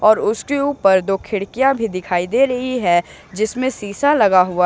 और उसके ऊपर दो खिड़कियां भी दिखाई दे रही है जिसमें शीशा लगा हुआ--